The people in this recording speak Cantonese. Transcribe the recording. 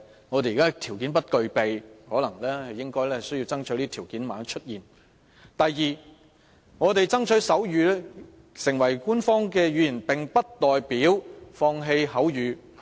我們現在不具備條件，但應要爭取這條件的出現；第二，我們爭取手語成為官方語言，並不代表放棄口語。